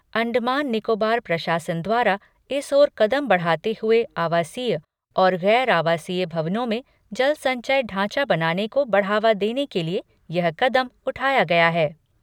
अंडमान निकोबार प्रशासन द्वारा इस ओर कदम बढ़ाते हुए आवासीय और गैर आवासीय भवनों में जल संचय ढांचा बनाने को बढ़ावा देने के लिए यह कदम उठाया गया है।